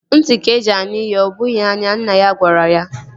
Ntị ka-eji anụ ihe ọ bụghị anya. Nne ya gwara ya